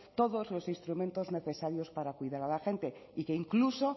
todos los instrumentos necesarios para cuidar a la gente y que incluso